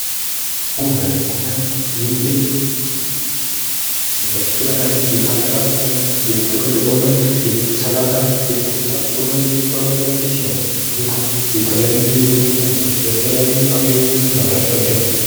ጎመን:- ጎመን ብዙ ጊዜ በብዙ አይነት የሐበሻ ጎመን፣ የጥቅል ጎመን፣ የሰላጣ ጎመን የቆስጣ ጎመን እሚባሉ አይነቶች ሲኖሩ የተለያዩ የጎመን አይነቶች ለተለያዩ አገልግሎት እናዉላቸዋለን።